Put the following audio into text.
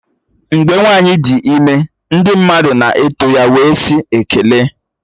Mgbe nwanyi dị ime ndị mmadụ na-eto ya wee sị "Ekele"